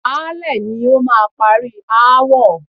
Baálẹ̀ ni ó máa parí aáwọ̀.